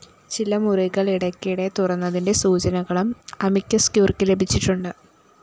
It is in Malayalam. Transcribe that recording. ചില മുറികള്‍ ഇടയ്ക്കിടെ തുറന്നതിന്റെ സൂചനകളും അമിക്കസ്ക്യൂറിക്ക്‌ ലഭിച്ചിട്ടുണ്ട്‌